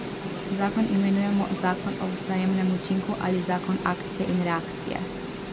Zakon imenujemo zakon o vzajemnem učinku ali zakon akcije in reakcije.